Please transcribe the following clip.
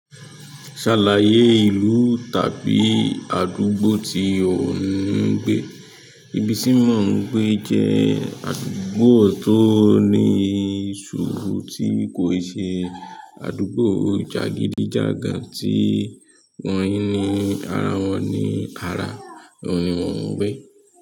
Ṣàlàyé ìlú tàbí àdúgbò tí o ń gbé? Ibi tí mo ń gbé jẹ́ àdúgbò tó ní sùúrù tí kò ṣe àdúgbò jàgídíjàgan tí wọn ni ara wọn ni ara. Ó ni mò ń gbé.